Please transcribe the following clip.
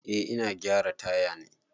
Eh ina gyara taya ne.